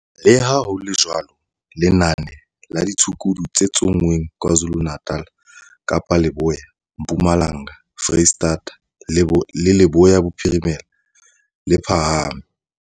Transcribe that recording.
Leha ho le jwalo, lenane la ditshukudu tse tsonngweng KwaZulu-Natal, Kapa Leboya, Mpumalanga, Freistata le Leboya Bophirimela, le phahame.